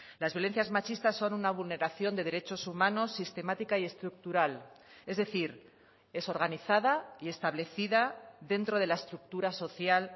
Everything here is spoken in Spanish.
las violencias machistas son una vulneración de derechos humanos sistemática y estructural es decir es organizada y establecida dentro de la estructura social